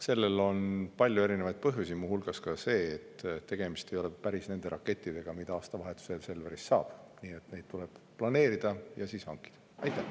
Sellel on palju erinevaid põhjusi, muu hulgas see, et tegemist ei ole päris nende rakettidega, mida aastavahetusel Selverist saab, nii et seda tuleb planeerida ja siis hankida.